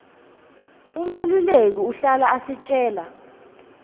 umeluleki uhlala asitjela